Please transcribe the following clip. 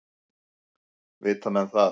Vita menn það?